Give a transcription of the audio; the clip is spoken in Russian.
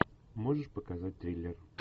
можешь показать триллер